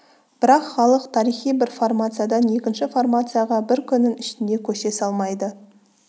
бірақ халық тарихи бір формациядан екінші формацияға бір күннің ішінде көше салмайды